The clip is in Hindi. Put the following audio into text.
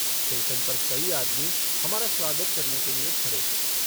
स्टेशन पर कई आदमी हमारा स्वागत करने के लिए खड़े थे।